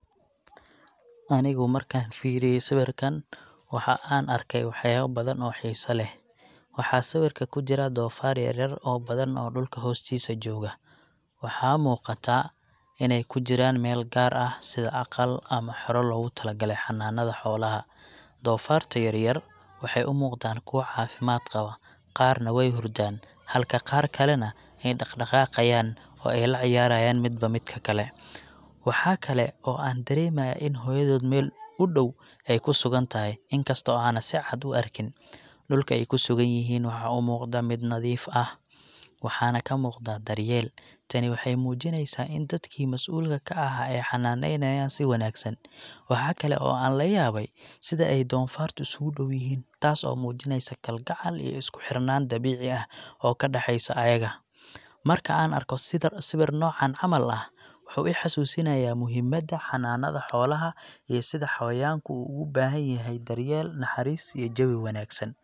Anigu markaan fiiriyay sawirkan, waxa aan arkay waxyaabo badan oo xiiso leh. Waxaa sawirka ku jira doofaar yar yar oo badan oo dhulka hoostiisa jooga. Waxaa muuqata inay ku jiraan meel gaar ah, sida aqal ama xero loogu talagalay xanaanada xoolaha. Doofaarta yar yar waxay u muuqdaan kuwo caafimaad qaba, qaarna way hurdaan halka qaar kalena ay dhaqaaqayaan oo ay la ciyaarayaan midba midka kale. Waxa kale oo aan dareemayaa in hooyadood meel u dhow ay ku sugan tahay, inkasta oo aanan si cad u arkin. Dhulka ay ku sugan yihiin waxa u muuqda mid nadiif ah, waxaana ka muuqda daryeel. Tani waxay muujinaysaa in dadkii masuulka ka ahaa ay xanaanaynayeen si wanaagsan. Waxa kale oo aan la yaabay sida ay doofaartaasi isku dhow yihiin, taas oo muujinaysa kalgacal iyo isku xirnaan dabiici ah oo ka dhexaysa ayaga . Marka aan arko sawir noocan camal ah, waxuu i xusuusinayaa muhiimadda xanaanada xoolaha iyo sida xawayanku ugu baahan yihiin daryeel, naxariis, iyo jawi wanaagsan.